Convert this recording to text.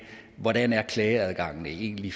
hvordan klageadgangen egentlig